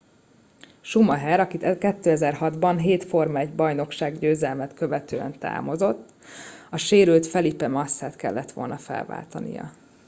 schumacher aki 2006 ban hét forma-1 bajnokság győzelmet követően távozott a sérült felipe massa t kellett volna felváltania